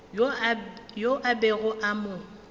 yo a bego a mo